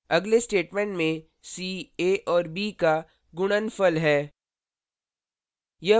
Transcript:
अगले statement में c a और b का गुणनफल है